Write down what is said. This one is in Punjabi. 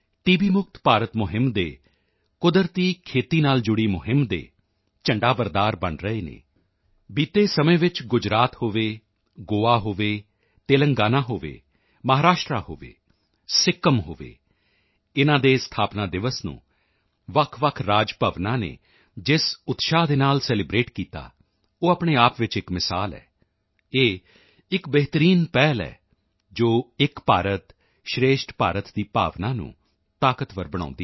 ਮੁਕਤ ਭਾਰਤ ਮੁਹਿੰਮ ਦੇ ਕੁਦਰਤੀ ਖੇਤੀ ਨਾਲ ਜੁੜੀ ਮੁਹਿੰਮ ਦੇ ਝੰਡਾਬਰਦਾਰ ਬਣ ਰਹੇ ਹਨ ਬੀਤੇ ਸਮੇਂ ਵਿੱਚ ਗੁਜਰਾਤ ਹੋਵੇ ਗੋਆ ਹੋਵੇ ਤੇਲੰਗਾਨਾ ਹੋਵੇ ਮਹਾਰਾਸ਼ਟਰ ਹੋਵੇ ਸਿੱਕਿਮ ਹੋਵੇ ਇਨ੍ਹਾਂ ਦੇ ਸਥਾਪਨਾ ਦਿਵਸ ਨੂੰ ਵੱਖਵੱਖ ਰਾਜ ਭਵਨਾਂ ਨੇ ਜਿਸ ਉਤਸ਼ਾਹ ਦੇ ਨਾਲ ਸੈਲੀਬ੍ਰੇਟ ਕੀਤਾ ਉਹ ਆਪਣੇ ਆਪ ਵਿੱਚ ਇੱਕ ਮਿਸਾਲ ਹੈ ਇਹ ਇੱਕ ਬਿਹਤਰੀਨ ਪਹਿਲ ਹੈ ਜੋ ਏਕ ਭਾਰਤ ਸ਼੍ਰੇਸ਼ਠ ਭਾਰਤ ਦੀ ਭਾਵਨਾ ਨੂੰ ਤਾਕਤਵਰ ਬਣਾਉਂਦੀ ਹੈ